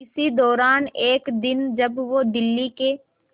इसी दौरान एक दिन जब वो दिल्ली के